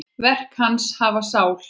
Verk hans hafa sál.